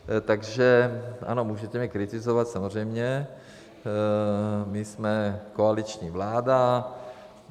Takže ano, můžete mě kritizovat, samozřejmě, my jsme koaliční vláda.